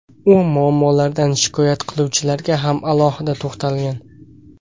U muammolardan shikoyat qiluvchilarga ham alohida to‘xtalgan.